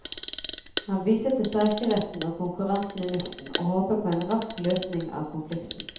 Han viser til streikeretten og konkurransen i luften, og håper på en rask løsning av konflikten.